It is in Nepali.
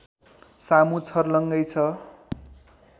सामु छर्लङ्गै छ